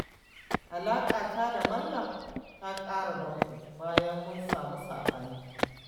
Alaƙata da Maryam ta ƙara danƙo, bayan mun samu saɓani